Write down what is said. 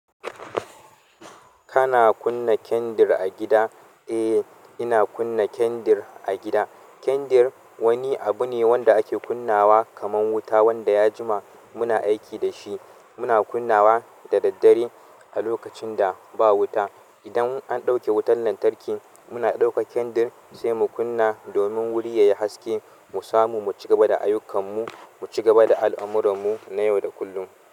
Kana kunna kendir a gida? Eh, ina kunna kendir a gida. Kendir wani abu ne wanda ake kunnawa kamar wuta wanda ya jima muna aiki da shi. Muna kunnawa da daddare a lokacin da ba wuta. Idan an ɗauke wutar lantarki muna ɗauka kendir sai mu kunna domin wuri ya yi haske mu samu mu cigaba da ayyukan mu, mu cigaba da al'amurarmu na yau da kullum.